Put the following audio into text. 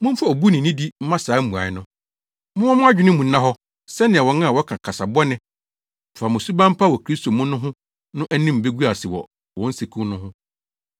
Momfa obu ne nidi mma saa mmuae no. Momma mo adwene mu nna hɔ sɛnea wɔn a wɔka kasa bɔne fa mo suban pa wɔ Kristo mu no ho no anim begu ase wɔ wɔn nseku no ho.